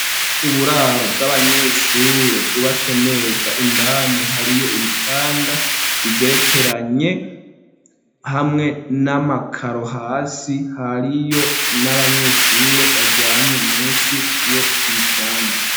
Uburaro bw'abanyeshure bwubatswe neza, indani hariyo ibitanda bigerekeranye ,hamwe n'amakaro hasi hariyo n'abanyeshure baryamye munsi y' ibitanda.